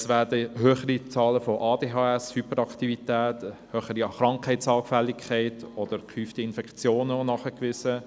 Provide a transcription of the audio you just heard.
Es werden höhere Zahlen von Aufmerksamkeitsdefizit-Hyperaktivitätsstörungen (ADHS), eine höhere Krankheitsanfälligkeit oder gehäufte Infektionen nachgewiesen.